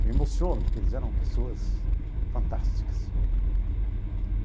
Eu me emociono, porque eles eram pessoas fantásticas.